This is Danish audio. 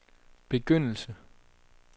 begyndelse